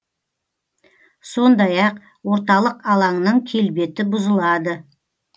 сондай ақ орталық алаңның келбеті бұзылады